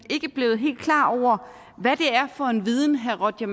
ikke blevet helt klar over hvad det er for en viden herre roger